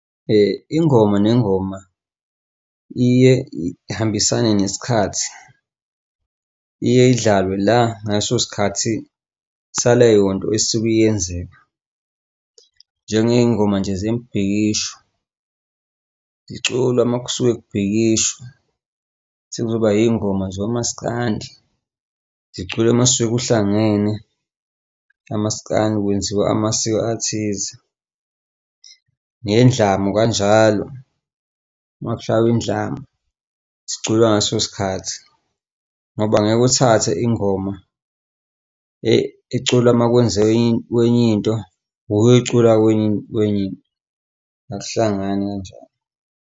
Ingoma nengoma iye ihambisane nesikhathi, iye idlalwe la ngaleso sikhathi sale yonto nto esuke yenzeka. Njengey'ngoma nje zemibhikisho ziculwa makusuke kubhikishwa, sekuzoba iy'ngoma zomaskandi ziculwe mase kuhlangene amasikandi kwenziwa amasiko athize nendlamu kanjalo makushaya indlamu sicula ngaleso sikhathi ngoba ngeke uthathe ingoma ecula makwenzeke enye into lo oyoyicula kwenye wenye akuhlangani kanjalo.